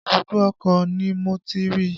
Ibùdó ọkọ̀ ni Mo ti rí i